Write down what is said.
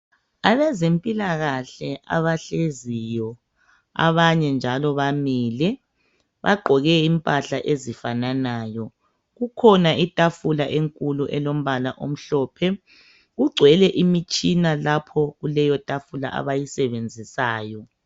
abezempilakahle abahleziyo abanye njalo bamile bagqoke impahla ezifananayo kukhona itafula enkulu elombala omhlophe kugcwele imitshina lapho kuleyotafula abayisebenzisayo